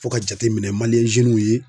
Fo ka jateminɛ zenunw ye